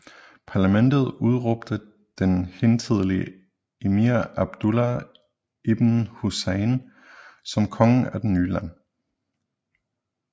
Parlamentet udråbte den hidtidige emir Abdullah ibn Hussein som konge af det nye land